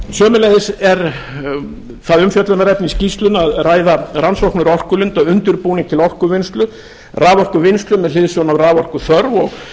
sömuleiðis er það umfjöllunarefni í skýrslunni að ræða rannsóknir á orkulindum og undirbúning til orkuvinnslu raforkuvinnslu með hliðsjón af raforkuþörf og